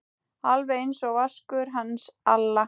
Alveg einsog Vaskur hans Alla?